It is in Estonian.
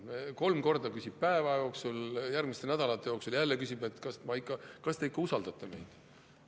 Kolm korda küsib päeva jooksul, järgmistel nädalatel jälle küsib, et kas te ikka usaldate meid.